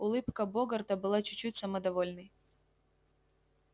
улыбка богарта была чуть-чуть самодовольной